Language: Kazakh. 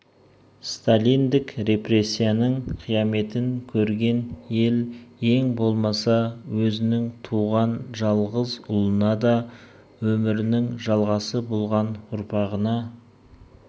сталиндік репрессияның қияметін көрген ел ең болмаса өзінің туған жалғыз ұлына да өмірінің жалғасы болған ұрпағына